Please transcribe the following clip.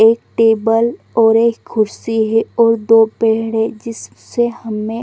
एक टेबल और एक खुर्सी है और दो पेड़ है जिससे हमें--